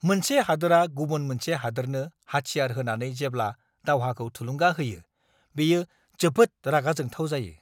मोनसे हादोरा गुबुन मोनसे हादोरनो हाथियार होनानै जेब्ला दावहाखौ थुलुंगा होयो, बेयो जोबोद रागा जोंथाव जायो!